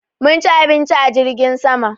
Mun ci abinci a jirgin sama.